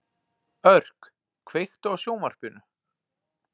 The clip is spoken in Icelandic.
Örk, kveiktu á sjónvarpinu.